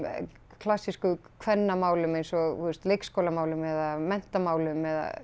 klassísku kvennamálum eins og þú veist leikskólamálum eða menntamálum eða